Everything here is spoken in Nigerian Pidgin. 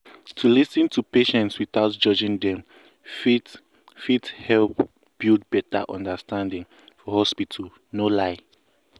to lis ten to patients without judging dem fit fit help build better understanding for hospital no lie.